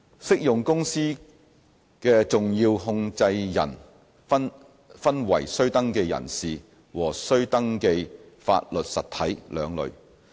適用公司的重要控制人分為須登記人士和須登記法律實體兩類。